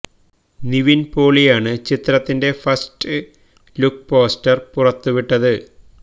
നിവിൻ പോളിയാണ് ചിത്രത്തിൻ്റെ first look poster പുറത്ത് വിട്ടത്